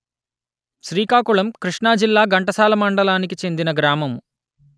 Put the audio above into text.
శ్రీకాకుళం కృష్ణా జిల్లా ఘంటసాల మండలానికి చెందిన గ్రామము